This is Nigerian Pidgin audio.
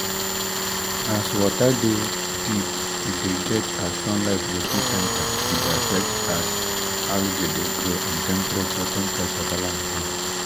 as water de deep e de get as sunlight go fit enter e de affect as algae de grow and temperarture temperarture balance join